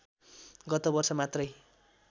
गत वर्ष मात्रै